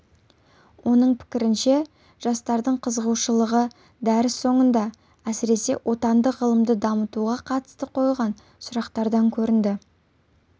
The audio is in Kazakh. оның пікірінше жастардың қызығушылығы дәріс соңында әсіресе отандық ғылымды дамытуға қатысты қойылған сұрақтардан көрінді